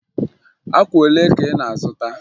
Akwa olee ka ị na-azụta?